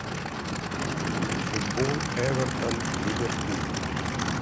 футбол эвертон ливерпуль